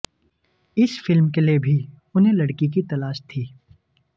इस फिल्म के लिए भी उन्हें लड़की की तलाश थी